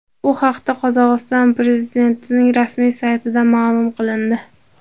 Bu haqda Qozog‘iston Prezidentining rasmiy saytida ma’lum qilindi .